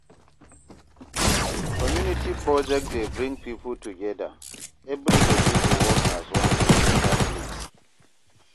Community project dey bring people together, everybody go work as one for better place.